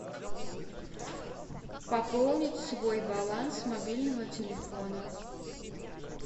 пополнить свой баланс мобильного телефона